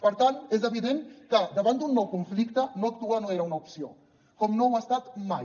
per tant és evident que davant d’un nou conflicte no actuar no era una opció com no ho ha estat mai